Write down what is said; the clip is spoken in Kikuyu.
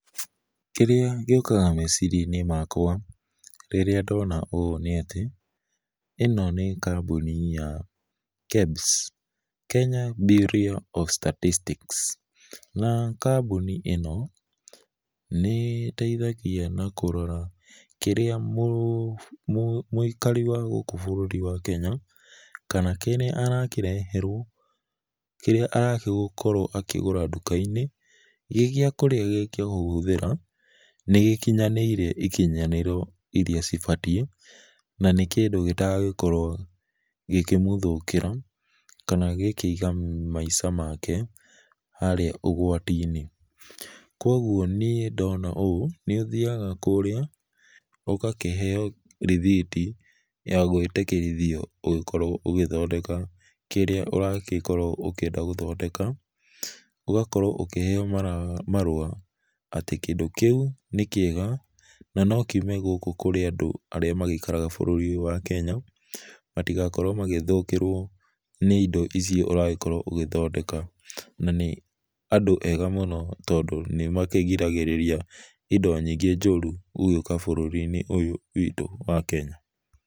Kĩrĩa gĩũkaga meciria inĩ makwa rĩrĩa ndona ũũ nĩ atĩ ĩno nĩ kambũnĩ ya KEBS Kenya Bureau of Statistics na kambũnĩ ĩno nĩ ĩteithagĩa na kũrora kĩrĩa mũĩkarĩ wa gũkũ bũrũrĩ wa Kenya kana kĩrĩa arakĩreherwo, kĩrĩa aragĩkorwo akĩgũra ndũka inĩ gĩ gĩa kũrĩa kana kũhũthĩra nĩ gĩkĩnyanĩrĩe ĩkĩnyanĩro ĩrĩa cibatĩe na kĩndũ gĩtagũkorwo gĩkĩmũthĩkĩra kana gĩkĩiga maĩca make harĩa ũgwati inĩ. Kwogwo nĩe ndona ũũ nĩ ũthĩga kũrĩa ũgakĩheo rithiti ya gwĩtĩkĩrĩthĩo ũgĩkorwo ũgĩthondeka kĩrĩa ũragĩkorwo ũkĩenda gũthondeka, ũgakorwo ũkĩheo marũa atĩ kĩndũ kĩũ nĩ kĩega na no kĩũme gũkũ kũrĩ andũ arĩa magĩikĩraga bũrũrĩ ũyũ wa Kenya matĩgakorwo magĩthũkĩrwo nĩ indo ici ũragĩkorwo ũgĩthondeka nĩ andũ ega mũno tondũ nĩ makĩgĩragĩrĩa indo nyĩngĩ njũru gũka bũrũri inĩ ũyũ wĩtũ wa Kenya.